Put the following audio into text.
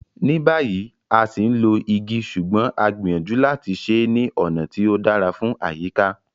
Ní báyìí, a ṣì ń lo igi ṣùgbọ́n a gbìyànjú láti ṣe é ní ọ̀nà tí ó dára fún àyíká.